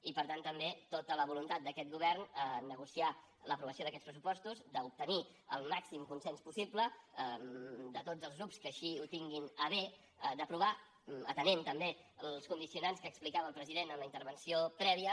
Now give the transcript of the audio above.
i per tant també tota la voluntat d’aquest govern a negociar l’aprovació d’aquests pressupostos d’obtenir el màxim consens possible de tots els grups que així ho tinguin a bé d’aprovar atenent també els condicionants que explicava el president en la intervenció prèvia